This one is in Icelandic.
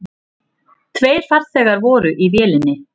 Tveir farþegar voru í vélinni.